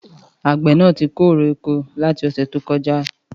Àgbẹ̀ náà tí kó èrè oko láti ọ̀sẹ̀ tó kọjá